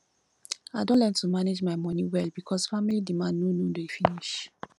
i don learn to manage my moni well because family demand no no dey finish